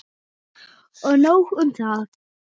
Og nóg um það.